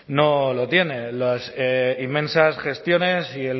no lo tiene las inmensas gestiones y